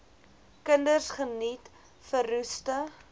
kinders geniet verroeste